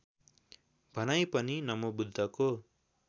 भनाई पनि नमोबुद्धको